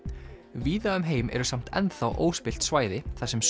víða um heim eru samt óspillt svæði þar sem